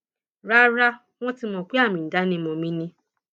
rara wọn ti mọ pé àmì ìdánimọ mi ni